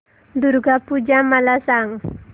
दुर्गा पूजा मला सांग